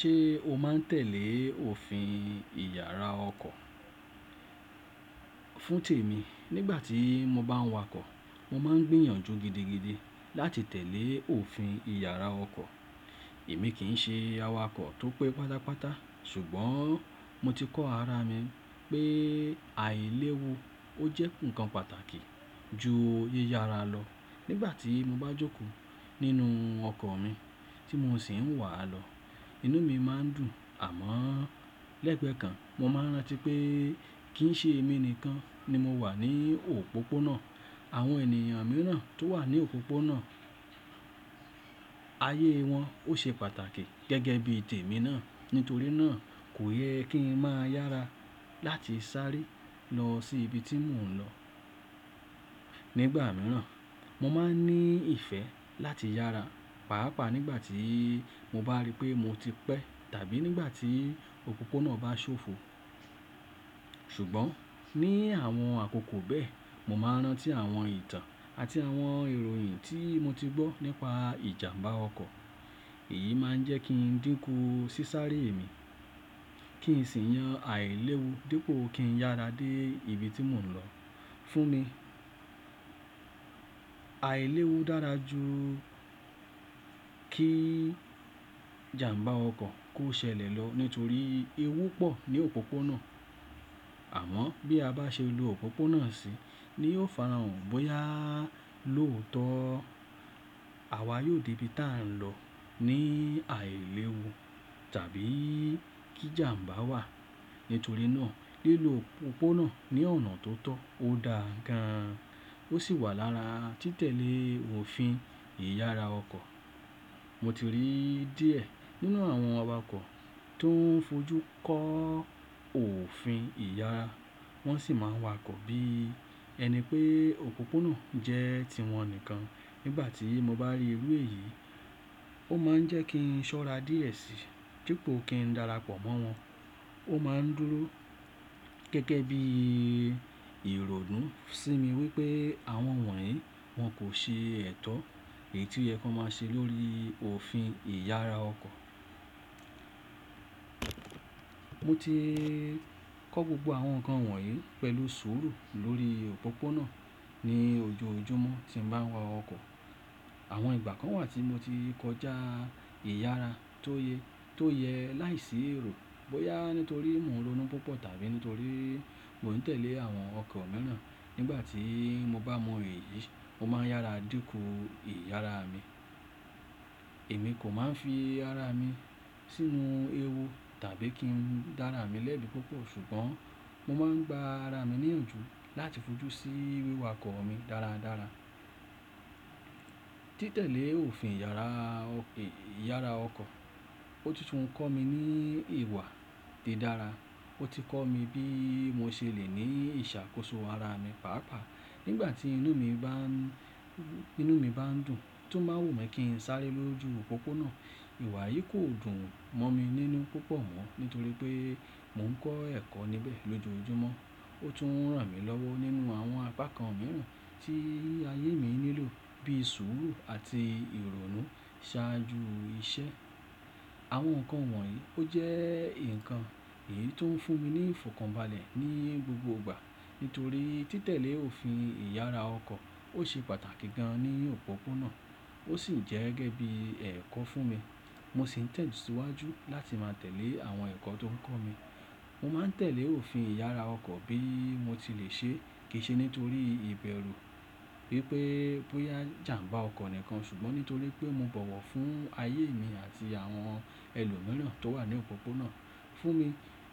Ṣé o máa ń tẹ̀lé òfin ìyara ọkọ̀? Fún tèmi, nígbà tí mo bá ń wakọ̀, mo máa ń gbìyànjú gidigidi láti tẹ̀lé òfin ìyara ọkọ̀. Èmi kì í ṣe awakọ̀ tó pé pátápátá ṣùgbọ́n mo ti kọ́ ara mi pé àìléwu ó jẹ́ nǹkan pàtàkì ju yíyara lọ. Nígbà tí mo bá jókòó nínú ọkọ̀ mi tí mo sì ń wà lọ, inú mi máa ń dùn àmọ́ lẹ́gbẹ́ kan mo máa rántí pé kì í ṣe èmi nìkan ni mo wà ní òpópónà. Àwọn ènìyàn mìíràn tó wà ní òpópónà, ayé wọn ó ṣe pàtàkì gẹ́gẹ́ bí tèmi náà. Nítorínà kò yẹ kí n máa yára láti sáré lọ sí ibi tí mò ń lọ. Nígbà mìíràn, mo máa ń ní ìfẹ́ láti yára pàápàá nígbà tí mo bá rí pé mo ti pẹ́ tàbí nígbà tí òpópónà bá ṣófo. Ṣùgbọ́n ní àwọn àkókò bẹ́ẹ̀, mo máa rántí àwọn ìtàn àti àwọn ìròyìn tí mo ti gbọ́ nípa ìjàmbá ọkọ̀. Èyí máa ń jẹ́ kí n dínkù ṣí sáré èmi, kí n sì yan àìléwu dípò kí n yára dé ibi tí mò ń lọ. Fún mi, àìléwu dára ju kí ìjàmbá ọkọ̀ kó ṣẹlẹ̀ lọ nítorí ewu pọ̀ ní òpópónà. Àmọ́ bí a bá ṣe lo òpópónà sí, ní ó fara hàn bóyá lóòótọ́ àwa yóò dé ibi tá a ń lọ ní àìléwu tàbí kí ìjàmbá wà. Nítorínà lílo òpópónà ní ọ̀nà tó tọ́ ó da gan an, ó sì wà lára titẹ̀lé òfin ìyara ọkọ̀. Mo ti rí díẹ̀ nínú àwọn awakọ̀ tó ń fojú kó òfin ìyara, wọ́n sì máa ń wakọ̀ bí ẹni pé òpópónà jẹ́ ti wọn nìkan. Nígbà tí mo bá rí irú èyí, ó máa ń jẹ́ kí n ṣọ́ra díẹ̀ síi dípò kí n darapọ̀ mọ́ wọn. Ó máa ń dúró gẹ́gẹ́ bí ìrònú sí mi wípé àwọn wọ̀nyí wọn kò ṣe ẹ̀tọ́ èyí tí o ye kan máa ṣe lórí òfin ìyara ọkọ̀. Mo ti kọ́ gbogbo àwọn nǹkan wọ̀nyí pẹ̀lú sùúrù lórí òpópónà ní ojoojúmọ́ tí mo bá ń wa ọkọ̀. Àwọn ìgbà kan wà tí mo ti kọjá ìyara tó yẹ to ye láìsí èrò bóyá nítorí mò ń ronú púpọ̀ tàbí nítorí mò ń tẹ̀lé àwọn ọkọ̀ mìíràn. Nígbà tí mo bá mọ èyí, mo máa ń yára dínkù ìyara mi. Èmi kò máa ń fi ara mi sínú ewu tàbí kí n dára mi lẹ́bi púpọ̀ ṣùgbọ́n mo máa ń gba ara mi níyànjú láti fojú sí wíwakọ̀ mi dáradára. Titẹ̀lé òfin ìyara ọkọ̀ ó títún ń kọ́ mi ní ìwà ti dára. Ó ti kọ́ mi bí mo ṣe lè ní ìṣàkóso ara mi pàápàá nígbà tí inú mi bá ń tinu mi ba n dùn tó máa wù mí kí ń sáré lójú òpópónà. Ìwà yìí kò dùn mọ́ mi nínú púpọ̀ mọ́ nítorí pé mò ń kọ́ ẹ̀kọ́ níbẹ̀ lójoojúmọ́. Ó tún ran mi lọ́wọ́ nínú àwọn apá kan mìíràn tí ayé mi nílò bí i sùúrù àti ìrònú ṣáájú iṣẹ́. Àwọn nǹkan wọ̀nyí ó jẹ́ nǹkan èyí tó ń fún mi ní ìfọ̀kànbalẹ̀ ní gbogbo ìgbà nítorí titẹ̀lé òfin ìyara ọkọ̀ ó ṣe pàtàkì gan an ní òpópónà ó sì jẹ́ gẹ́gẹ́ bí ẹ̀kọ́ fún mi. Mo sì ń tẹ̀síwájú láti máa tẹ̀lé àwọn ẹ̀kọ́ tó ń kọ́ mi. Mo máa ń tẹ̀lé òfin ìyara ọkọ̀ bí mo ti lè ṣe kì í ṣe nítorí ìbẹ̀rù wípé bóyá ìjàmbá ọkọ̀ nìkan ṣùgbọ́n nítorí pé mo bọ̀wọ̀ fún ayé mi àti àwọn ẹlòmíràn tó wà ní òpópónà. Fún mi,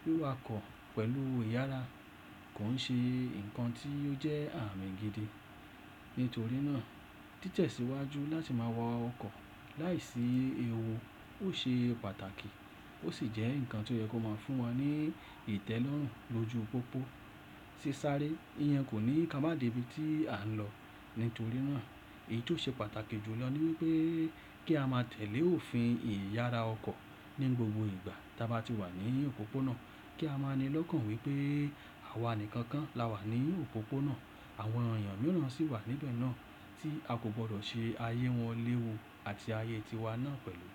wíwakọ̀ pẹ̀lú ìyara kò ń ṣe nǹkan tí ó jẹ́ àmì gidi. Nítorínà títẹ̀síwájú láti máa wa ọkọ̀ láìsí ewu ó ṣe pàtàkì ó sì jẹ́ nǹkan tí ó yẹ kó máa fún wa ní ìtẹ́lọ́rùn lójú pópó. Sísáré, ìyẹn kò ní ká máa débi tí à ń lọ. Nítorínà èyí tó ṣe pàtàkì jù lọ ni wipé kí a máa tẹ̀lé òfin ìyara ọkọ̀ ní gbogbo ìgbà tí a bá ti wà ní òpópónà. Kí a máa nilọ́kàn wípé àwa nìkan kan la wà ní òpópónà, àwọn ènìyàn mìíràn sì wà níbẹ̀ náà tí a kò gbọ́dọ̀ ṣe ayé wọn léwu àti ayé tiwa náà pẹ̀lú.